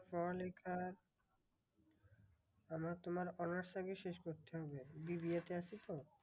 পড়ালেখার আমার তোমার honours টা কে শেষ করতে হবে। বি বি এ তে আছি তো?